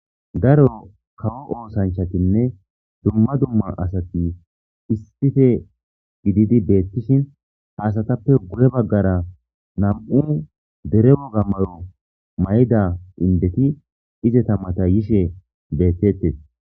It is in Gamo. Daro kawo oosanchatinne dumma dumma asati issife gididi beettishin haasatappe guye baggara nam'u deremo gammayo may'da indeti izeta mata yishe beettettes.